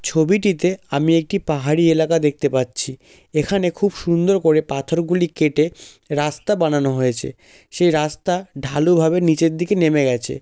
ছবিটিতে আমি একটি পাহাড়ি এলাকা দেখতে পাচ্ছি এখানে খুব সুন্দর করে পাথরগুলি কেটে রাস্তা বানানো হয়েছে সেই রাস্তা ঢালুভাবে নিজের দিকে নেমে গেছে।